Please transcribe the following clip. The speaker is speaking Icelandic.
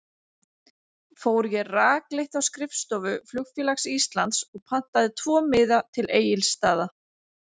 Fór ég rakleitt á skrifstofu Flugfélags Íslands og pantaði tvo miða til Egilsstaða.